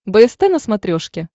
бст на смотрешке